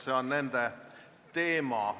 See on nende teema.